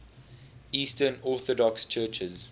eastern orthodox churches